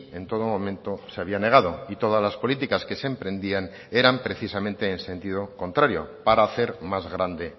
en todo momento se había negado y todas las políticas que se emprendían eran precisamente en sentido contrario para hacer más grande